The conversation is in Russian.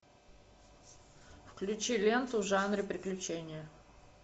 включи ленту в жанре приключения